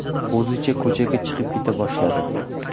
O‘zicha ko‘chaga chiqib keta boshladi.